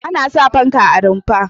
Ana sa fanka a rumfa.